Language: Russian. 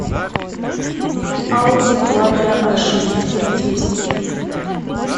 ауди квадро а шесть характеристики